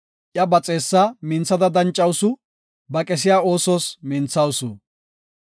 Iya ba xeessa minthada dancawusu; ba qesiya oosos minthawusu.